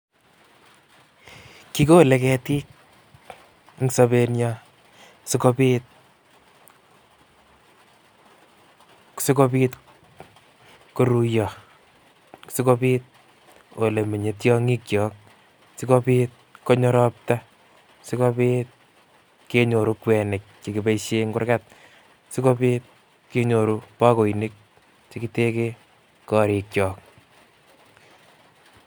Kolole ketik eng' sobenyin sikobit, sikobit koruiyoo, sikobiit olemenye tiong'ikyok, sikobiit konyo robta, sikobiit kenyoru kwenik chekiboishen en kurgat, sikobiit kenyorun bakoinik chekiteken korikyok.